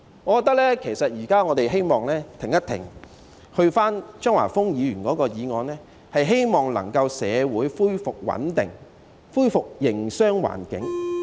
我認為其實我們現在應停一停，正如張華峰議員的議案目的，希望社會能夠恢復穩定，恢復營商環境。